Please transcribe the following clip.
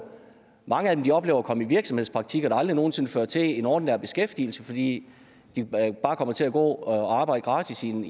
mange af dem oplever at komme i en virksomhedspraktik der aldrig nogen sinde fører til en ordinær beskæftigelse fordi de bare kommer til at gå og arbejde gratis i en